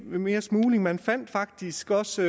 mere smugling man fandt faktisk også